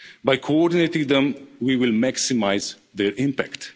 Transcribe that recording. By coordinating them, we will maximise their